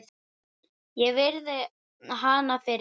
Ég virði hana fyrir mér.